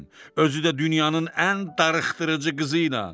Özü də dünyanın ən darıxdırıcı qızı ilə.